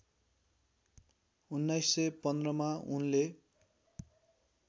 १९१५ मा उनले